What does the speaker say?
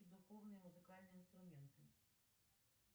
духовные музыкальные инструменты